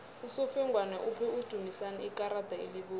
usofengwana uphe udumisani ikarada elibovu